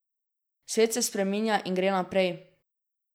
Svet se spreminja in gre naprej.